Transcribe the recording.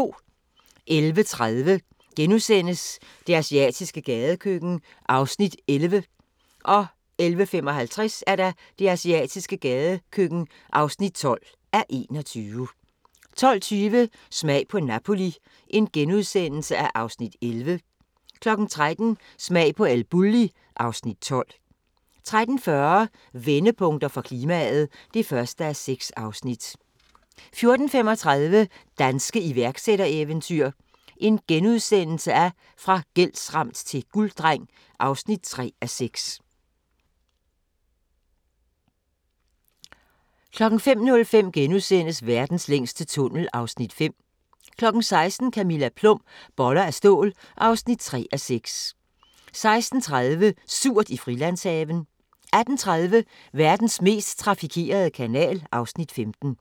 11:30: Det asiatiske gadekøkken (11:21)* 11:55: Det asiatiske gadekøkken (12:21) 12:20: Smag på Napoli (Afs. 11)* 13:00: Smag på El Bulli (Afs. 12) 13:40: Vendepunkter for klimaet (1:6) 14:35: Danske iværksættereventyr – fra gældsramt til gulddreng (3:6)* 15:05: Verdens længste tunnel (Afs. 5)* 16:00: Camilla Plum – Boller af stål (3:6) 16:30: Surt i Frilandshaven 18:30: Verdens mest trafikerede kanal (Afs. 15)